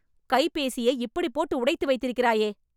கைபேசியை இப்படி போட்டு உடைத்து வைத்திருக்கிறாயே